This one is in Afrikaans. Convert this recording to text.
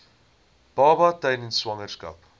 baba tydens swangerskap